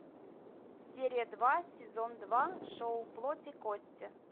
серия два сезон два шоу плоть и кости